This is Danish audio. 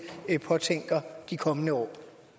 påtænker at have de kommende år